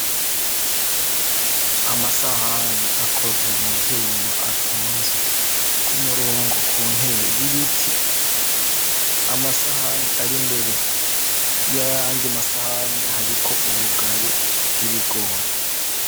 amasahani akozwe mu vyuma atunze k'umurongo ku ntebe y'ibiti amasahani ari mbere yayandi masahani hariko ubugari bw'ibigori